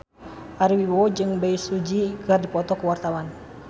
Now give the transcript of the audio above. Ari Wibowo jeung Bae Su Ji keur dipoto ku wartawan